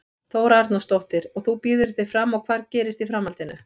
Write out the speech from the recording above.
Þóra Arnórsdóttir: Og þú býður þig fram og hvað gerist í framhaldinu?